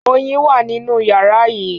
Oyin wá nínú yàrá yii